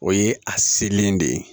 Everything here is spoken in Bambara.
O ye a selen de ye